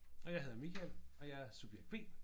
Og jeg hedder Michael og jeg er subjekt B